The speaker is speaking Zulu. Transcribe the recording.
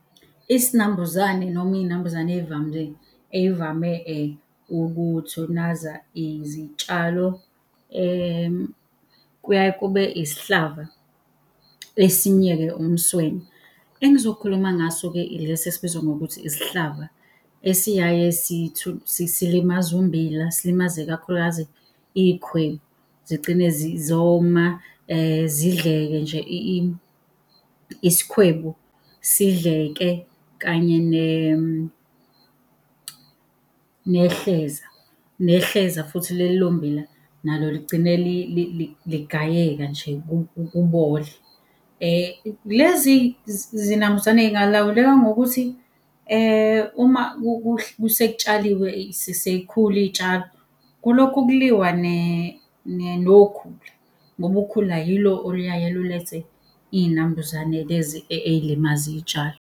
Isinambuzame noma iy'nambuzane ey'vame ukuthunaza izitshalo kuyaye kube isihlava, esinye-ke umswenya. Engizokhuluma ngaso-ke ilesi esibizwa ngokuthi isihlava, esiyaye silimaza ummbila, silimaze kakhulukazi iy'khwebu, zigcine zoma, zidleke nje isikhwebu, sidleke kanye nehleza. Nehleza futhi leli lommbila nalo ligcine ligayeka nje kubole. Lezi zinambuzane zingalawuleka ngokuthi uma sekutshaliwe sey'khula iy'tshalo, kulokhu kuliwa nokhula, ngoba ukhula yilo oluyaye lulethe iy'nambuzane lezi ey'limaza iy'tshalo.